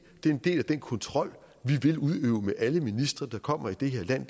det er en del af den kontrol vi vil udøve med alle ministre der kommer i det her land